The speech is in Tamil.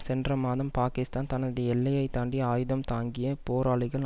சென்ற மாதம் பாகிஸ்தான் தனது எல்லையை தாண்டி ஆயுதம் தாங்கிய போராளிகள்